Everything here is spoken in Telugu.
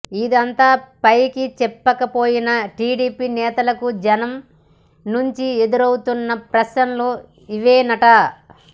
ఇదంతా పైకి చెప్పక పోయినా టీడీపీ నేతలకు జనం నుంచి ఎదురవుతున్న ప్రశ్నలు ఇవేనట